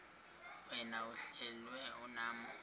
wena uhlel unam